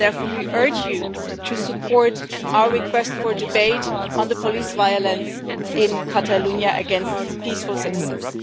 Therefore, we urge you to support our request for a debate on the police violence in Catalonia against peaceful citizens.